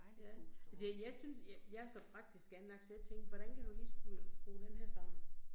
Ja, altså jeg synes jeg så praktisk anlagt, så jeg tænkte, hvordan kan du lige skrue skrue denne her sammen